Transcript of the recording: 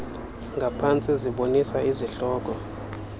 ngaphantsi zibonisa izihloko